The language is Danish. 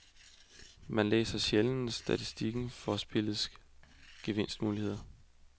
Man læser sjældent statistikken for spillets gevinstmuligheder.